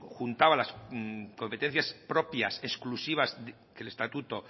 juntaba las competencias propias exclusivas que el estatuto